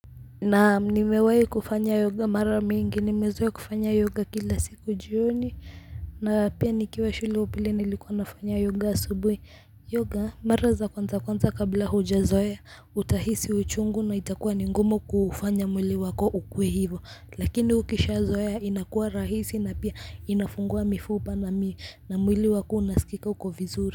Naam, nimewahi kufanya yoga mara mingi, nimezoea kufanya yoga kila siku jioni, na pia nikiwa shule upili nilikuwa nafanya yoga asubuhi. Yoga mara za kwanza kwanza kabla hujazoea, utahisi uchungu na itakuwa ni ngumu kufanya mwili wako ukuwe hivo, lakini ukishazoea inakuwa rahisi na pia inafungua mifupa na mwili wako unasikika uko vizuri.